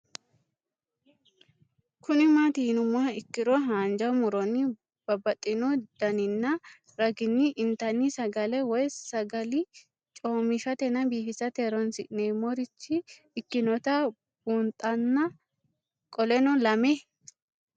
Kuni mati yinumoha ikiro hanja muroni babaxino daninina ragini intani sagale woyi sagali comishatenna bifisate horonsine'morich ikinota bunxana qoleno lame?